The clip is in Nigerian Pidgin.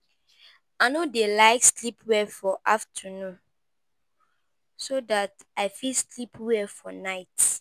I no dey like sleep well for afternoon so dat I go fit sleep well for night.